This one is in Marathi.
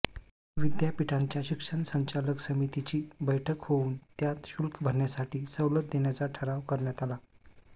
विद्यापीठांच्या शिक्षण संचालक समितीची बैठक होऊन त्यात शुल्क भरण्यासाठी सवलत देण्याचा ठराव करण्यात आला